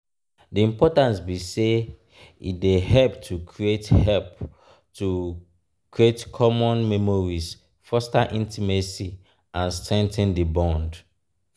di importance be say e dey help to create help to create common memories foster intimacy and strengthen di bond.